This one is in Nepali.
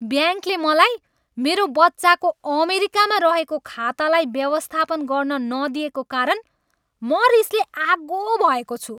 ब्याङ्कले मलाई मेरो बच्चाको अमेरिकामा रहेको खातालाई व्यवस्थापन गर्न नदिएको कारण म रिसले आगो भएको छु।